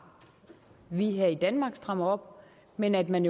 vi her i danmark strammer op men at man